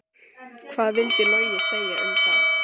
Hvað vildi Logi segja um það?